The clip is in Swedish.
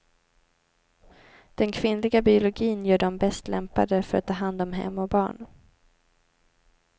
Den kvinnliga biologin gör dem bäst lämpade för att ta hand om hem och barn.